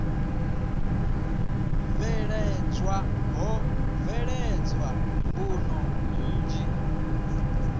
bveledzwa ho bveledzwa mbuno nnzhi